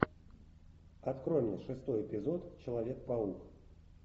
открой мне шестой эпизод человек паук